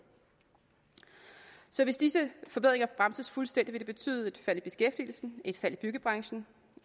så hvis disse forbedringer bremses fuldstændig vil det betyde et fald i beskæftigelsen et fald i byggebranchen